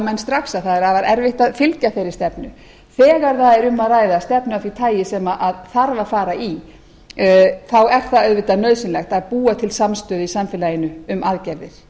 menn strax að það er afar erfitt að fylgja þeirri stefnu þegar við erum að ræða stefnu sem þarf að fara í er það auðvitað nauðsynlegt að búa til samstöðu í samfélaginu um aðgerðir